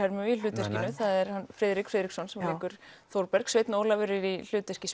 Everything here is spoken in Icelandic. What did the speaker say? í hlutverkinu það er hann Friðrik Friðriksson sem leikur Þórberg sveinn Ólafur er í hlutverki